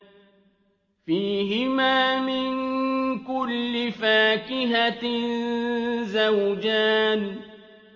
فِيهِمَا مِن كُلِّ فَاكِهَةٍ زَوْجَانِ